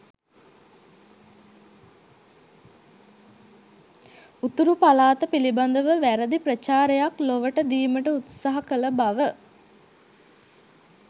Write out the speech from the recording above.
උතුරු පළාත පිළිබඳව වැරදි ප්‍රචාරයක් ලොවට දීමට උත්සාහ කළ බව